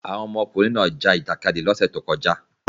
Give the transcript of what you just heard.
Àwọn ọmọkùnrin náà ja ìjàkadì lọ́sẹ̀ tó kọjá.